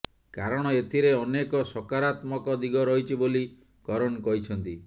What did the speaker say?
କାରଣ ଏଥିରେ ଅନେକ ସକାରାତ୍ମକ ଦିଗ ରହିଛି ବୋଲି କରନ କହିଛନ୍ତି